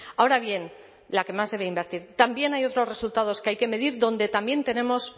ahora bien la que más debe invertir también hay otros resultados que hay que medir donde también tenemos